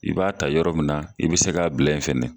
I b'a ta yɔrɔ min na i bi se k'a bila in fɛnɛ